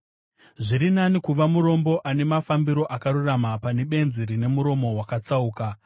Zviri nani kuva murombo ane mafambiro akarurama, pane benzi rine muromo wakatsauka.